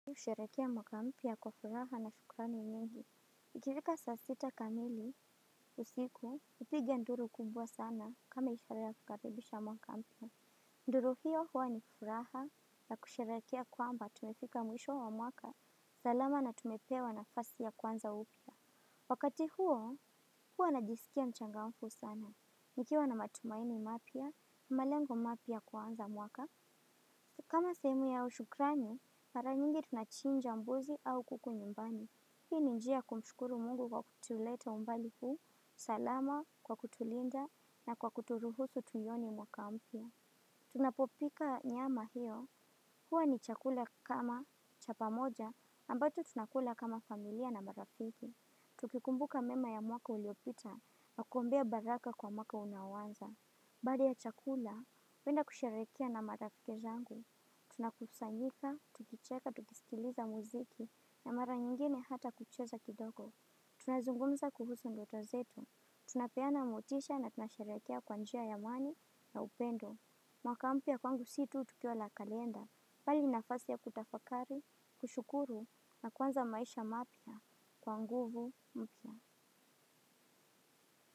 Kusherehekea mwaka mpya kwa furaha na shukrani nyingi ikifika saa sita kamili, usiku, hupiga nduru kubwa sana kama ishara ya kukaribisha mwaka mpya. Nduru hiyo huwa ni furaha na kusherehekea kwamba tumefika mwisho wa mwaka, salama na tumepewa nafasi ya kuanza upya. Wakati huo, huwa najisikia mchangafu sana. Nikiwa na matumaini mapya, malengo mapya kuanza mwaka. Kama sehemu au shukrani mara nyingi tunachinja mbuzi au kuku nyumbani. Hii ni njia ys kumshukuru mungu kwa kutuleta umbali huu, salama, kwa kutulinda, na kwa kuturuhusu tunione mwaka mpya. Tunapopika nyama hiyo, huwa ni chakula kama cha pamoja, ambacho tunakula kama familia na marafiki. Tukikumbuka mema ya mwaka uliopita, na kuombea baraka kwa mwaka unaoanza. Baada ya chakula, huenda kusherehekea na marafiki zangu. Tuna kusanyika, tukicheka, tukisikiliza muziki na mara nyingine hata kucheza kidogo. Tuna zungumza kuhusu ndoto zetu. Tunapeana motisha na tunasherehekea kwa njia ya amani na upendo. Mwaka mpya kwangu si tu tukio la kalenda. Bali ni nafasi ya kutafakari, kushukuru na kuanza maisha mapya kwa nguvu mpya.